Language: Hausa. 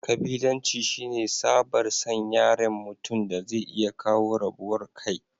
kabilanci shine tsabar San yaren mutum daze iya kawo rabuwar kai